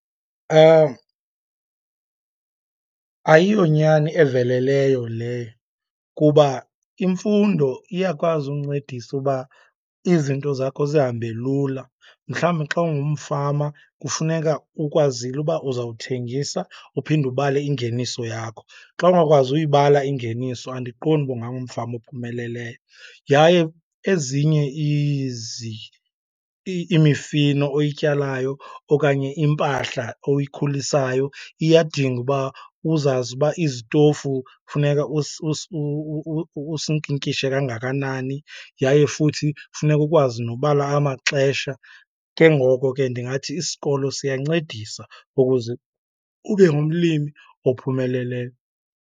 Ayiyonyani eveleleyo leyo kuba imfundo iyakwazi ukuncedisa uba izinto zakho zihambe lula. Mhlawumbi xa ungumfama kufuneka ukwazile uba uzawuthengisa uphinde ubale ingeniso yakho. Xa ungakwazi uyibala ingeniso andiqondi uba ungangumfama ophumeleleyo. Yaye ezinye imifino oyityalayo okanye impahla oyikhulisayo iyadinga uba uzazi uba izitofu kufuneka usinkinkishe kangakani, yaye futhi kufuneka ukwazi nobala amaxesha. Ke ngoko ke ndingathi isikolo siyancedisa ukuze ube ngumlimi ophumeleleyo.